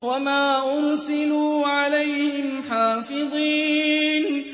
وَمَا أُرْسِلُوا عَلَيْهِمْ حَافِظِينَ